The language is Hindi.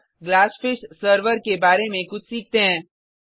अब ग्लासफिश सर्वर के बारे में कुछ सीखते हैं